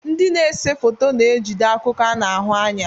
Ndị na-ese foto na-ejide akụkọ a na-ahụ anya.